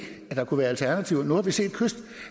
at der kunne være alternativer